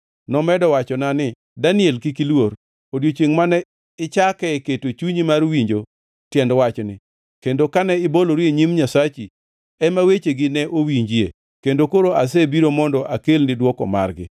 Nomedo wachona ni, Daniel, kik iluor. Odiechiengʼ mane ichake keto chunyi mar winjo tiend wachni, kendo kane ibolori e nyim Nyasachi, ema wechegi ne owinjie, kendo koro asebiro mondo akelni dwoko margi.